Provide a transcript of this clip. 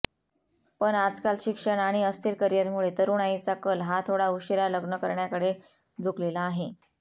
पण आजकाल शिक्षण आणि अस्थिर करियरमुळे तरूणाईचा कल हा थोडा उशीरा लग्न करण्याकडे झुकलेला आहे